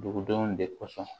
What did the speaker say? Dugudenw de kosɔn